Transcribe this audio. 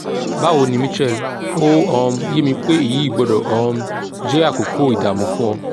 báwo ni michelle ó um yé mi pé èyí gbọ́dọ̀ um jẹ́ àkókò ìdààmú fún ọ